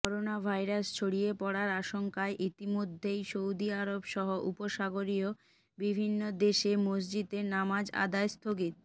coronavirus ছড়িয়ে পড়ার আশঙ্কায় ইতিমধ্যেই সৌদি আরবসহ উপসাগরীয় বিভিন্ন দেশে মসজিদে নামাজ আদায় স্থগি